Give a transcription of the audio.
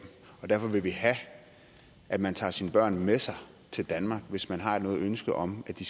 derfor vil vi have at man tager sine børn med sig til danmark hvis man har et ønske om at de